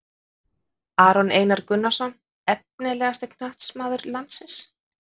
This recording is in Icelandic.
Aron Einar Gunnarsson Efnilegasti knattspyrnumaður landsins?